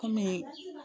Kɔmi